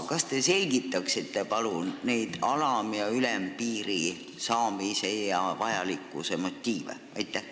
Kas te selgitaksite alam- ja ülempiiri vajalikkuse motiive?